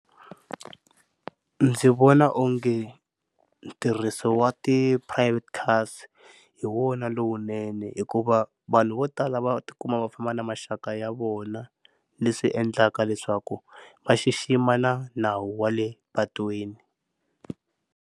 Ndzi vona onge ntirhiso wa ti-private cars hi wona lowunene hikuva vanhu vo tala va tikuma va famba na maxaka ya vona leswi endlaka leswaku va xixima na nawu wa le patwini.